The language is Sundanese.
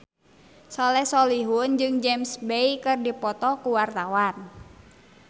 Soleh Solihun jeung James Bay keur dipoto ku wartawan